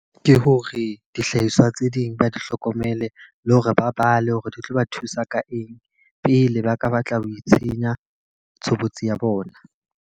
Ke hore dihlahiswa tse ding ba di hlokomele, le hore ba bale hore di tlo ba thusa ka eng. Pele ba ka ba tla ho itshenya tshobotsi ya bona.